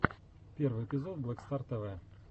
первый эпизод блэк стар тв